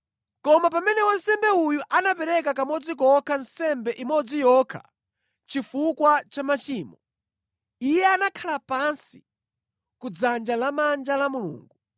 Koma pamene wansembe uyu anapereka kamodzi kokha nsembe imodzi yokha chifukwa cha machimo, Iye anakhala pansi ku dzanja lamanja la Mulungu.